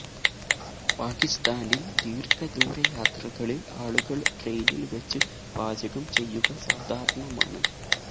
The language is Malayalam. പാകിസ്ഥാനില് ദീര്ഘദൂര യാത്രകളില് ആളുകള് ട്രെയിനില് വെച്ച് പാചകം ചെയ്യുക സാധാരണമാണ്